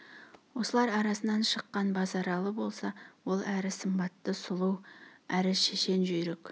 осылар арасынан шыққан базаралы болса ол әрі сымбатты сұлу әрі шешен жүйрік